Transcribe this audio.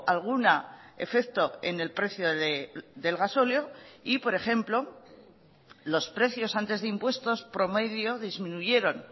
alguna efecto en el precio del gasóleo y por ejemplo los precios antes de impuestos promedio disminuyeron